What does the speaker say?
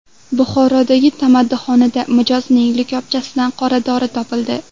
Buxorodagi tamaddixonada mijozning likopchasidan qoradori topildi.